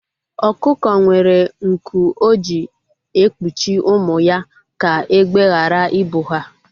Ọkụkọ nwere nku o ji ekpuchi ụmụ ya ka egbe ghara I bụ ha